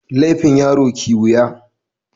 Laifin yaro kiwiya.